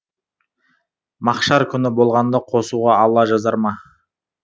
махшар күні болғанда қосуға алла жазар ма